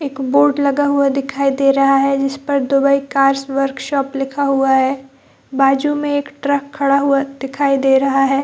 एक बोर्ड लगा हुआ दिखाई दे रहा है जिस पर दुबई कार्स वर्क शॉप लिखा हुआ है बाज़ू में एक ट्रक खड़ा हुआ दिखाई दे रहा है ।